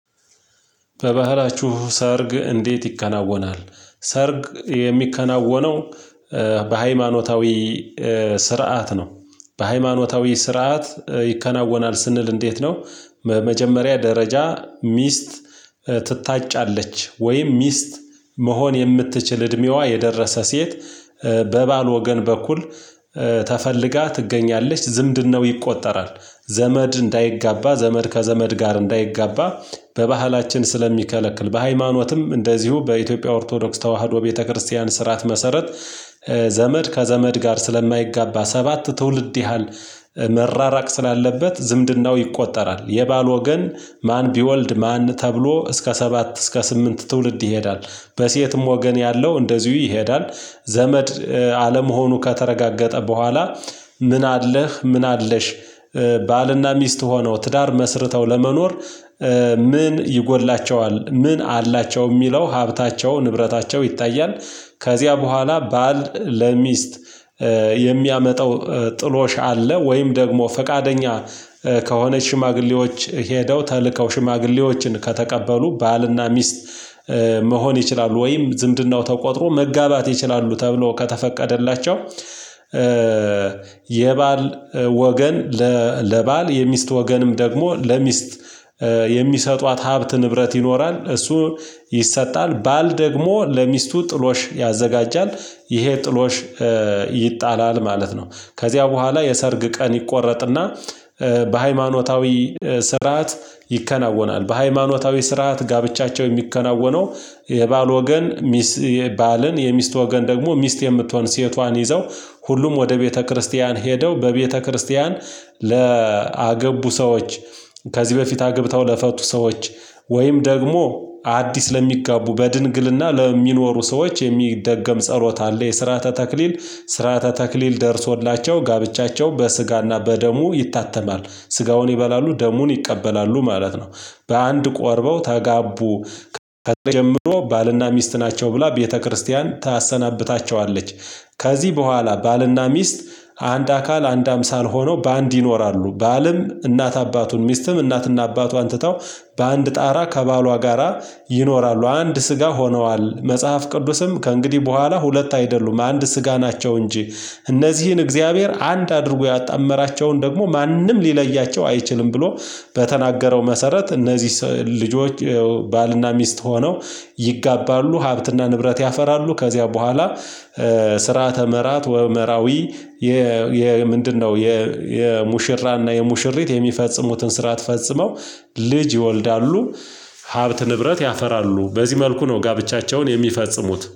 በባህላችሁ ሰርግ እንዴት ይከናወናል? ሰርግ የሚከናወነው በሃይማኖታዊ ስርዓት ነው። በሃይማኖታዊ ስርዓት ይከናወናል ስንል እንዴት ነው? መጀመሪያ ደረጃ ሚስት ትታጫለች ወይም ሚስት መሆን የምትችል እድሜዋ የደረሰ ሴት በባል ወገን በኩል ተፈልጋ ትገኛለች ዝምድናው ይቆጠራል ዘመድ እንዳይጋባ ዘመድ ከዘመድ ጋር እንዳይጋባ። በባህላችን ስለሚከለክል በሃይማኖትም እንደዚሁ በኢትዮጵያ ኦርቶዶክስ ተዋህዶ ቤተክርስቲያን ስርዓት መሰረት ዘመድ ከዘመድ ጋር ስለማይጋባ ሰባት ትውልድ ያህል መራራቅ ስላለበት ዝምድናው ይቆጠራል። የባል ወገን ማን ቢወልድ ማን ተብሎ እስከ ሰባት እስከ ስምንት ትውልድ ይሄዳል። በሴትም ወገን ያለው እንደዚሁ ይሄዳል። ዘመድ አለመሆኑ ከተረጋገጠ በኋላ ምን አለህ ምን አለሽ? ባልና ሚስት ሆኖ ትዳር መስርተው ለመኖር ምን ይጎድላቸዋል ምን አላቸው የሚለው ሀብታቸው ንብረታቸው ይታያል። ከዚያ በኋላ ባል ለሚስት የሚያመጣው ጥሎሽ አለ ወይም ደግሞ ፈቃደኛ ከሆነ ሽማግሌዎች ሄደው ተልከው ሽማግሌዎችን ከተቀበሉ ባልና ሚስት መሆን ይችላሉ። ወይም ዝምድናው ተቆጥሮ መጋባት ይችላሉ ተብሎ ከተፈቀደላቸው። የባል ወገን ለባል የሚስት ወገንም ደግሞ ለሚስት የሚሰጧት ሀብት ንብረት ይኖራል እሱ ይሰጣል ባል ደግሞ ለሚስቱ ጥሎሽ ያዘጋጃል። ይሄ ጥሎሽ ይጣላል ማለት ነው። ከዚያ በኋላ የሰርግ ቀን ይቆረጥና በሃይማኖታዊ ይከናወናል በሃይማኖታዊ ስርዓት ጋብቻቸው የሚከናወነው። የባል ወገን ሚስ ባልን የሚስት ወገን ደግሞ ሚስት የምትሆን ሴቷን ይዘው ሁሉም ወደ ቤተክርስቲያን ሄደው በቤተክርስቲያን ለአገቡ ሰዎች። ከዚህ በፊት አግብተው ለፈቱ ሰዎች ወይም ደግሞ አዲስ ለሚጋቡ በድንግልና ለሚኖሩ ሰዎች የሚደገም ጸሎት አለ። የስርዓተ ተክሊል ስርዓተ ተክሊል ደርሶላቸው ጋብቻቸው በስጋና በደሙ ይታተማል ስጋውን ይበላሉ ደሙን ይቀበላሉ ማለት ነው። በአንድ ቆርበው ተጋቡ ከአሁንጀምሮ ባልና ሚስት ናቸው ብላ ቤተክርስቲያን ታሰናብታቸዋለች። ከዚህ በኋላ ባልና ሚስት አንድ አካል አንድ አምሳል ሆነው በአንድ ይኖራሉ ባልም እናት አባቱን ሚስትም እናትና አባቷን ትተው በአንድ ጣራ ከባሏ ጋራ ይኖራሉ። አንድ ስጋ ሆነዋል መጽሐፍ ቅዱስም ከእንግዲህ በኋላ ሁለት አይደሉም አንድ ስጋ ናቸው እንጂ። እነዚህን እግዚአብሔር አንድ አድርጎ ያጣመራቸውን ደግሞ ማንም ሊለያቸው አይችልም። ብሎ በተናገረው መሰረት እነዚህ ልጆች ባልና ሚስት ሆነው ይጋባሉ ሀብትና ንብረት ያፈራሉ። ከዚያ በኋላ ስርዓተ መራት ወ መራዊ የ ምንድነው? የ የሙሽራና የሙሽሪት የሚፈጽሙትን ስርዓት ፈጽመው ልጅ ይወልዳሉ። ሀብት ንብረት ያፈራሉ በዚህ መልኩ ነው ጋብቻቸውን የሚፈጽሙት